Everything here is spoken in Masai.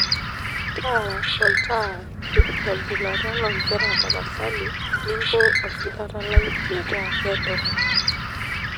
taara olnta to gilata lonkera tapasali ninko ologilata lai metaa kedo